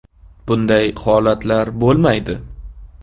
Bunday holatlar bo‘lmaydi.